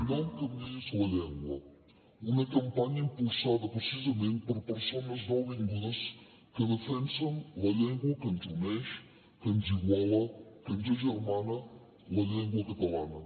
no em canviïs la llengua una campanya impulsada precisament per persones nouvingudes que defensen la llengua que ens uneix que ens iguala que ens agermana la llengua catalana